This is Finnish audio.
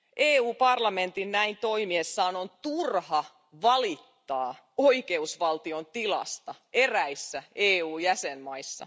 EU parlamentin on näin toimiessaan turha valittaa oikeusvaltion tilasta eräissä EU jäsenvaltioissa.